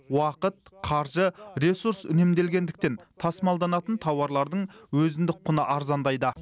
уақыт қаржы ресурс үнемделгендіктен тасымалданатын тауарлардың өзіндік құны арзандайды